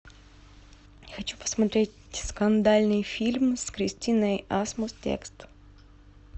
хочу посмотреть скандальный фильм с кристиной асмус текст